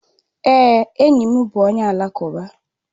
Èé, enyi m bụ onye alakụba.